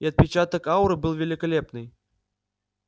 и отпечаток ауры был великолепный